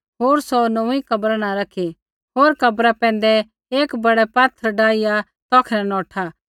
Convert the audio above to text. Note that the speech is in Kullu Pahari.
होर सौ नौंऊँईं कब्रा न रैखी होर कब्रा बाहरै एक बड़ै पात्थर डाहिया तौखै न नौठा